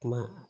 Kuma